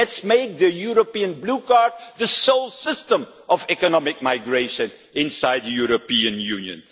policy. Let us make the European Blue Card the sole system of economic migration inside the European